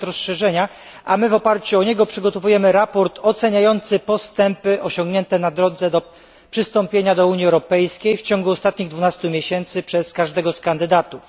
pakiet rozszerzenia, a my w oparciu o ten pakiet przygotowujemy raport oceniający postępy osiągnięte na drodze przystąpienia do Unii Europejskiej w ciągu ostatnich 12 miesięcy przez każdego z kandydatów.